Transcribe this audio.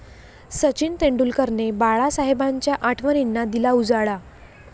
सचिन तेंडुलकरने बाळासाहेबांच्या आठवणींना दिला उजाळा